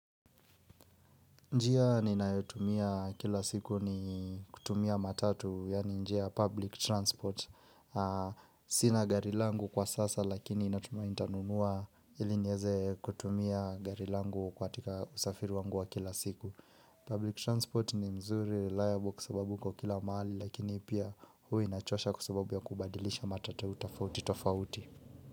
Njia ninayotumia kila siku ni kutumia matatu, yaani njia public transport. Sina gari langu kwa sasa lakini natumai nitanunua iliniweze kutumia gari langu katika usafiri wangu wa kila siku. Public transport ni mzuri, reliable kwa sababu iko kila mahali lakini pia hua inachosha kwa ababu ya kubadilisha matatu tofauti tofauti.